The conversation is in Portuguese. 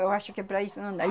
Eu acho que para isso não dá.